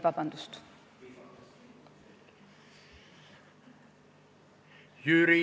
Vabandust!